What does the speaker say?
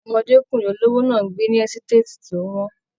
Ọmọdékunrin olówó náà n gbé ní ẹsitati to wọn.